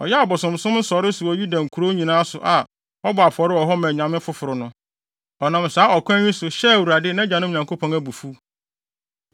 Ɔyɛɛ abosonsom nsɔree so wɔ Yuda nkurow nyinaa so a wɔbɔ afɔre wɔ hɔ ma anyame foforo no. Ɔnam saa ɔkwan yi so, hyɛɛ Awurade, nʼagyanom Nyankopɔn, abufuw.